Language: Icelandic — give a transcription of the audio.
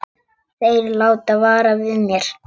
Þeir láta vara við mér.